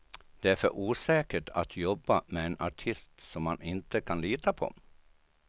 Det är för osäkert att jobba med en artist som man inte kan lita på.